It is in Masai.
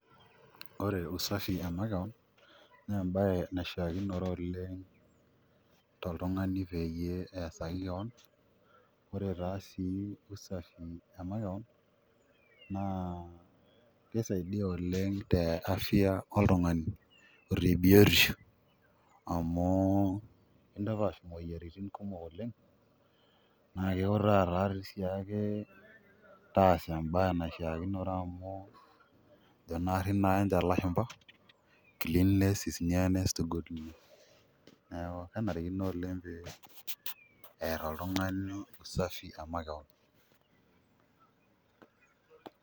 Ore usafi emakeon, nebae naishaakinore oleng toltung'ani peyie eesaki keon, ore taa si usafi emakeon, naa kisaidia oleng te afya oltung'ani. Ore tebiotisho, amu kintapaash imoyiaritin kumok oleng, na kiutaa tatii si ake taasa ebae naishaakinore amu, ejo naarri nanche lashumpa, cleanliness is nearness to Godliness. Neeku kenarikino oleng pee, err oltung'ani usafi emakeon.